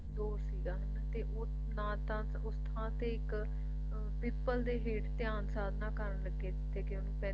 ਉਹ ਕੁਛ ਸੀਗਾ ਹਨਾਂ ਤੇ ਉਸ ਨਾ ਤਾਂ ਉਸ ਥਾਂ ਤੇ ਇੱਕ ਪਿੱਪਲ ਦੇ ਹੇਠ ਧਿਆਨ ਸਾਧਨਾ ਕਰਨ ਲੱਗੇ ਸੀਗੇ ਕਿਉਂਕਿ